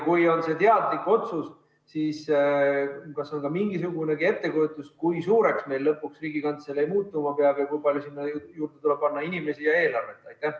Kui see on teadlik otsus, siis kas on ka mingisugunegi ettekujutus, kui suureks meil lõpuks Riigikantselei muutuma peab, kui palju sinna tuleb juurde panna inimesi ja eelarvet?